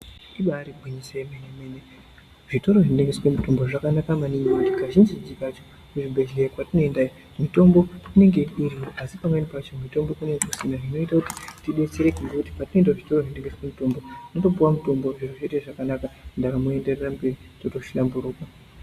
Ibaari gwinyiso yemene mene zvitoro zvinotengeswe mitombo zvakanaka maningi ngekuti kazhinji kacho kuzvibhedhleya kwatinoenda iyo mitombo inenge iriyo asi pamweni pacho mitombo kunenge kusina zvinoita kuti tidetsereke ngekuti patinoende kuzvitoro zvinotengese mitombo zviro zvoita zvakanaka ndaramo yotoenderera mberi totohlamburuka.